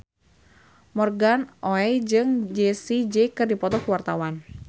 Morgan Oey jeung Jessie J keur dipoto ku wartawan